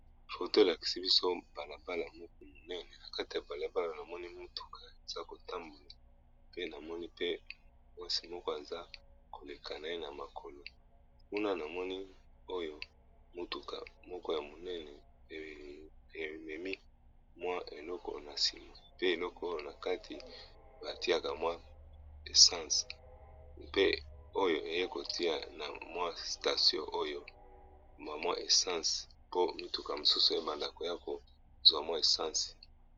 Photo elakisi biso balabala moko monene na kati ya balabala na moni mituka eza kotambola, pe namoni pe mwasi moko aza koleka na ye na makolo, kuna na moni oyo mutuka moko ya monene ememi mwa eloko na nsima, pe eloko na kati batiaka mwa essence, mpe oyo eye kotia na mwa statio oyo mamwa essence po mituka mosusu ebandako ya kozwa mwa essense.